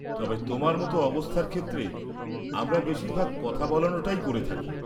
-তবে তোমার মতো অবস্থার ক্ষেত্রে আমরা বেশিরভাগ কথা বলানোটাই করে থাকি।